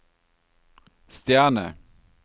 stjerne